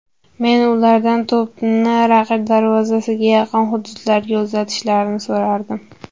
Men ulardan to‘pni raqib darvozasiga yaqin hududlarga uzatishlarini so‘radim.